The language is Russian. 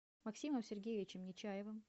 максимом сергеевичем нечаевым